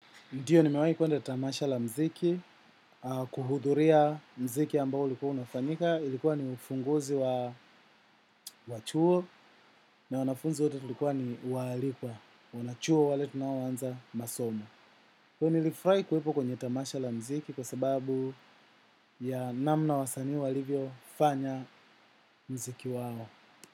Ndio nimewahi kwenda tamasha la mziki, kuhudhuria muziki ambao ulikuwa unafanyika, ilikuwa ni ufunguzi wa chuo, na wanafunzi wote tulikuwa ni waalikwa, wanachuo wale tunaoanza masomo. Kweli nilifurahi kuwepo kwenye tamasha la muziki kwa sababu ya namna wasanii walivyo fanya muziki wao.